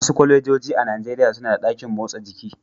Wasu kwalejoji a Najeriya suna da ɗakin motsa jiki.